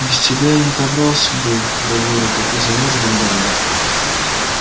без тебя я не добрался бы до города и замёрз бы на дороге